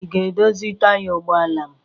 Ị ga-edozi taya ụgbọala m?